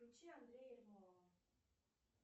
включи андрея ермолова